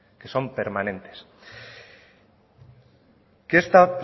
que son permanentes qué está